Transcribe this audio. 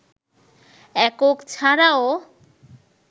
একক ছাড়াও